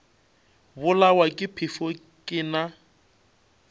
bolawa ke phefo ke na